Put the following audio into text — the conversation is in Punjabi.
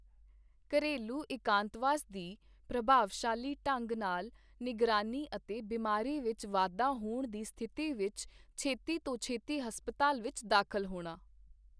ਘਰੇਲੂ ਇਕਾਂਤਵਾਸ ਦੀ ਪ੍ਰ੍ਭਾਵਸ਼ਾਲੀ ਢੰਗ ਨਾਲ ਨਿਗਰਾਨੀ ਅਤੇ ਬਿਮਾਰੀ ਵਿੱਚ ਵਾਧਾ ਹੋਣ ਦੀ ਸਥਿਤੀ ਵਿੱਚ ਛੇਤੀ ਤੋਂ ਛੇਤੀ ਹਸਪਤਾਲ ਵਿੱਚ ਦਾਖਲ ਹੋਣਾ।